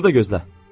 Burada gözlə.